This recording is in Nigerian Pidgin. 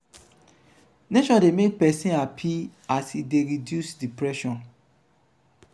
nature de make persin happy and e de reduce depression